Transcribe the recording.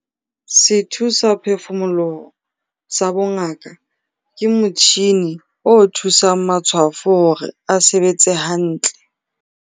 Sethusaphefumoloho sa bongaka ke motjhine o thusang matshwafo hore a sebetse hantle.